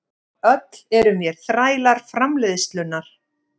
Öll erum vér þrælar framleiðslunnar.